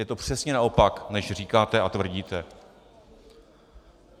Je to přesně naopak, než říkáte a tvrdíte.